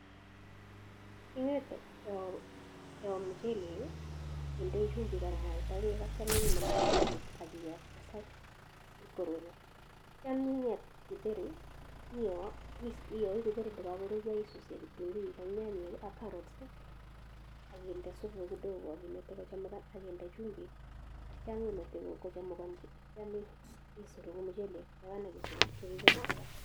Ingete iyoo muchelek, indei chumbik ak mwaita beek atyo inde muchelek ak kiyoo ipkosai ipkoruryo, aninget kitheri iyoo, iyoi kitheri kakoruryo isuuse kitunguik ak nyanyek ak karots akinde supuk kidogo akimte kochemukan akinde chumbik atyo imete kochemukansa, nityo isurukchi muchelek taban aki kisurukchi kitheri taban.